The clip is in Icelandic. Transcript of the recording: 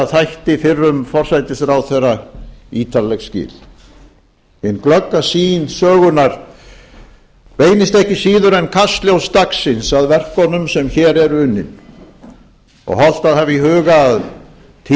þætti fyrrum forsætisráðherra ítarleg skil hin glögga sýn sögunnar beinist ekki síður en kastljós dagsins að verkunum sem hér eru unnin og hollt að hafa í huga